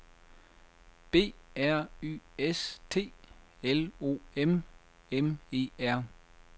B R Y S T L O M M E R